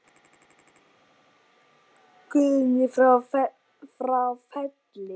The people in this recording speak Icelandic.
Guðný frá Felli.